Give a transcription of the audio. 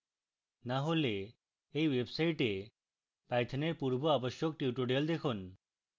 না হলে এই website পাইথনের পূর্বাবশ্যক tutorials দেখুন